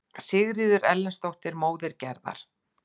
Sigríður Erlendsdóttir, móðir Gerðar.